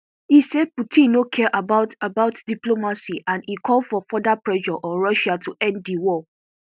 e say putin no care about about diplomacy and e call for further pressure on russia to end di war